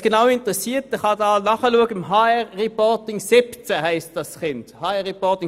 Wer sich dafür interessiert, kann dies im HR-Reporting 2017 der FIN nachsehen.